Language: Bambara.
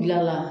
Gila la